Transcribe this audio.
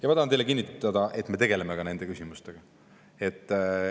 Ja ma tahan teile kinnitada, et me tegeleme ka nende küsimustega.